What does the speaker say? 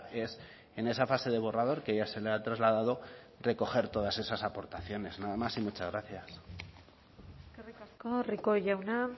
es en esa fase de borrador que ya se le ha trasladado recoger todas esas aportaciones nada más y muchas gracias eskerrik asko rico jauna